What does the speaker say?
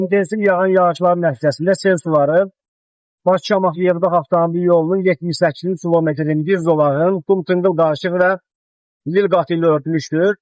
İntensiv yağan yağışların nəticəsində sel suları Bakı-Şamaxı yerdəq avtomobil yolunun 78-ci kilometrində inzib zolağın qum-çınqıl daşlığı və lil qat ilə örtülmüşdür.